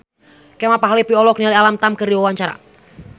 Kemal Palevi olohok ningali Alam Tam keur diwawancara